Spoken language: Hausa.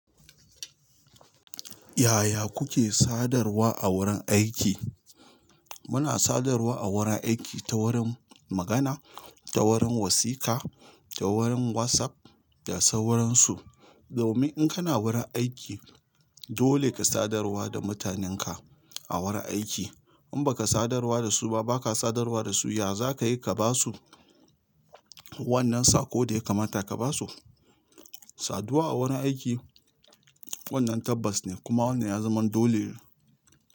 Yaya kuke sadarwa a wurin aiki? Muna sadarwa a wurin aiki ta wurin magana, ta wurin wasika, ta wurin WhatsApp da sauransu. Domin in kana wurin aiki, dole ka sadarwa da mutanenka a wurin aiki. In baka sadarwa da su ba, baka sadarwa da su, ya za ka yi ka ba su wannan saƙo da ya kamata ka ba su? Saduwa a wurin aiki wannan tabbas ne kuma wannan ya zama dole ne.